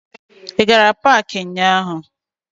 Ị gara paakị ụnyaahụ?